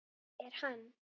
Er hann.